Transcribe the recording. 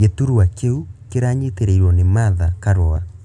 Gĩturwa kĩu kĩranyitĩrĩirwo nĩ martha karũa